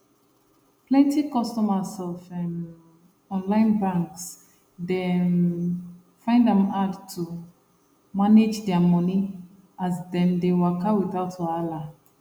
plenty customers of um online banks dey um find am hard to manage their money as dem dey waka without wahala